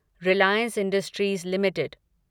Reliance Industries limited